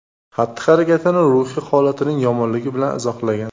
xatti-harakatini ruhiy holatining yomonligi bilan izohlagan.